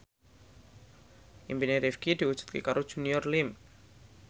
impine Rifqi diwujudke karo Junior Liem